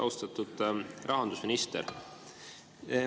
Austatud rahandusminister!